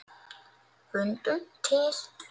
Fundum til.